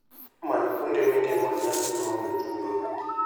Many kuonde mitimoe nyasi maonge chudo.